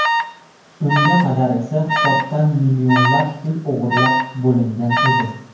Unga qadar esa hisobdan millionlab pul o‘g‘irlab bo‘lingan edi.